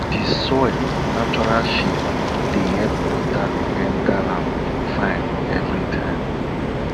di soil natural shape dey help water enter am fine every time